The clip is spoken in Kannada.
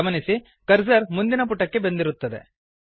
ಗಮನಿಸಿ ಕರ್ಸರ್ ಮುಂದಿನ ಪುಟಕ್ಕೆ ಬಂದಿರುತ್ತದೆ